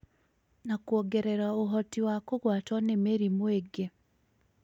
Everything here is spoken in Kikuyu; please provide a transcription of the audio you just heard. na kwongerera ũhoti wa kũgwatwo nĩ mĩrimũ ĩngĩ.